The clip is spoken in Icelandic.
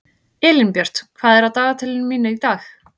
Elínbjört, hvað er á dagatalinu mínu í dag?